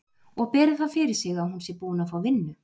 Og beri það fyrir sig að hún sé búin að fá vinnu.